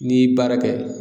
N'i ye baara kɛ.